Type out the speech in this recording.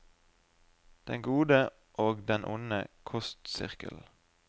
Den gode og den onde kostsirkelen.